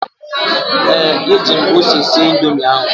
ee, eji m ose sie Indomi ahụ